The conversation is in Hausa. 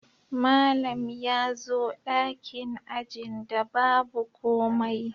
Malam ya zo dakin ajin da babu komai